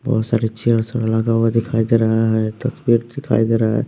बहोत सारे चेयर सब लगा हुआ दिखाई दे रहा है तस्वीर दिखाई दे रहा है।